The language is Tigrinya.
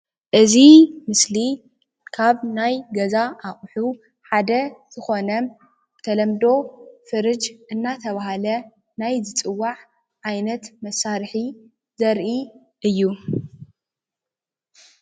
እዚ ምስሊ ካብ ናይ ገዛ ኣቑሑ ሓደ ዝኾነ ብተለምዶ ፍርጅ እናተባህለ ናይ ዝጽዋዕ ዓይነት መሳርሒ ዘርኢ እዩ።